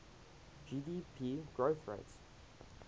gdp growth rates